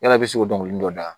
Yala i bɛ se k'o dɔn dɔnkili dɔ da